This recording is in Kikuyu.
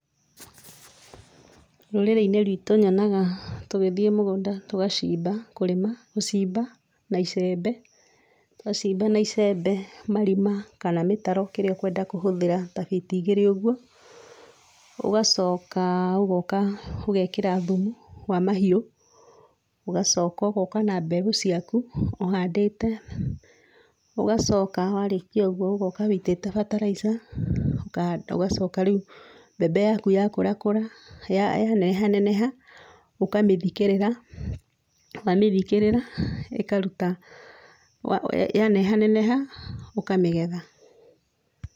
Rũrĩrĩ-inĩ rwitũ nyonaga tũgĩthiĩ mũgũnda tũgacimba, kũrĩma, gũcimba na icembe, twacimba na icembe, marima kana mĩtaro kĩrĩa ũkwenda kũhũthĩra ta fiti igĩrĩ ũgwo, ũgacoka ũgoka ũgekĩra thumu wa mahiũ, ũgacoka ũgoka na mbegũ ciaku ũhandĩte, ũgacoka warĩkia ũgwo ũgoka wĩitĩte fertilizer ũkahanda. Ũgacoka rĩu mbembe yaku yakũrakũra yaneehaneneha ũkamĩthikĩrĩra, wamĩthikĩrĩra ĩkaruta, yanehaneneha, ũkamĩgetha.